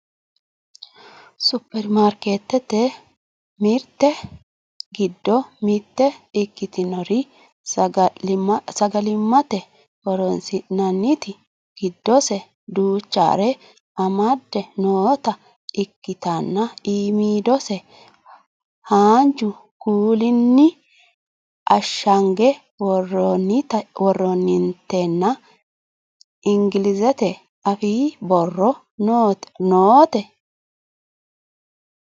supperimarkeetete mirte giddo mitte ikkitinori sagalimmate horonsi'nanniti giddose duuchare amadde noota ikkitanna iimidose haanju kuulinni ashshange worroonitenna ingilizete afii borro noote